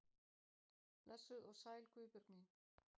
Blessuð og sæl Guðbjörg mín.